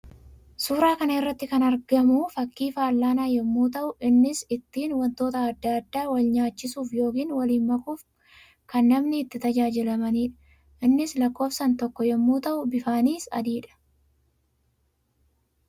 Suuraa kana irratti kan arvamu fakkii fallaanaa yammuu ta'u; innis ittiin wantoota addaa addaa wal nyaachisuuf yookiin waliin makuuf kan namni itti tajaajilamanii dha. Innis lakkoofsaan tokko yammuu ta'u; bifaanis adii dha.